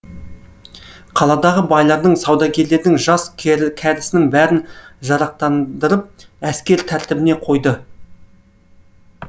қаладағы байлардың саудагерлердің жас кәрісінің бәрін жарақтандырып әскер тәртібіне қойды